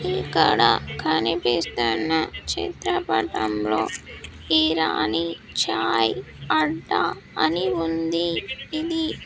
ఇక్కడ కనిపిస్తున్న చిత్రపటంలో ఇరానీ చాయ్ అడ్డా అని ఉంది ఇది.